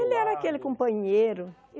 Ele era aquele companheiro.